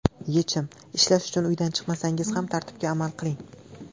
Yechim: Ishlash uchun uydan chiqmasangiz ham tartibga amal qiling.